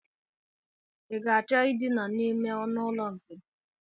I ga-achọ Idina n'ime ọnụụlọ nke m?